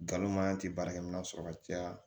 Nkalon maɲan tɛ baarakɛminɛn sɔrɔ ka caya